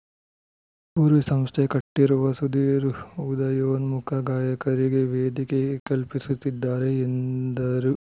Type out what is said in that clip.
ಪೂರ್ವಿ ಸಂಸ್ಥೆ ಕಟ್ಟಿರುವ ಸುಧೀರ್‌ ಉದಯೋನ್ಮುಖ ಗಾಯಕರಿಗೆ ವೇದಿಕೆ ಕಲ್ಪಿಸುತ್ತಿದ್ದಾರೆ ಎಂದರು